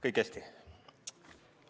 Kõik on hästi.